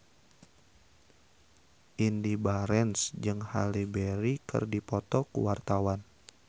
Indy Barens jeung Halle Berry keur dipoto ku wartawan